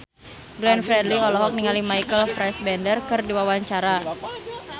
Glenn Fredly olohok ningali Michael Fassbender keur diwawancara